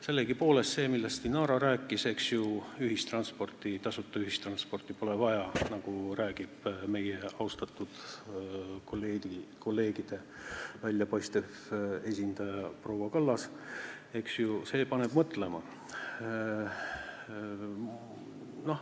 Sellegipoolest, see, millest Inara rääkis, eks ju, et tasuta ühistransporti pole vaja, nagu räägib meie austatud kolleegide väljapaistev esindaja proua Kallas, paneb mõtlema.